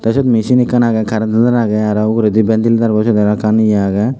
te sot misin ekkan aage current to tar aro uguredi bentilitarbo sot aro ekkan ye aage.